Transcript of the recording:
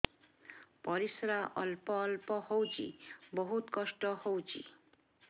ପରିଶ୍ରା ଅଳ୍ପ ଅଳ୍ପ ହଉଚି ବହୁତ କଷ୍ଟ ହଉଚି